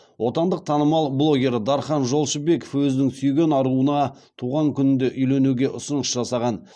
отандық танымал блогер дархан жолшыбеков өзінің сүйген аруына туған күнінде үйленуге ұсыныс жасаған